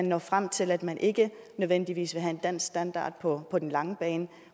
når frem til at man ikke nødvendigvis vil have en dansk standard på på den lange bane